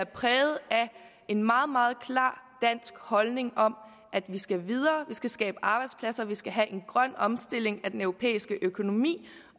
præget af en meget meget klar dansk holdning om at vi skal videre at vi skal skabe arbejdspladser vi skal have en grøn omstilling af den europæiske økonomi